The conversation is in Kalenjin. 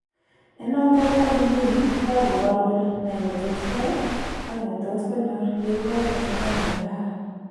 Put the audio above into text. En notet any inguni kogagobor kole ne netot koyai ak ne netot konyor yeibor chesanet nekararan.